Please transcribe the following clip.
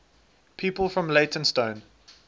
people from leytonstone